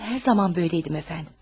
Mən hər zaman böyləydim, əfəndim.